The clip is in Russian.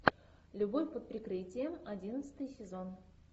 любовь под прикрытием одиннадцатый сезон